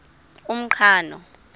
umqhano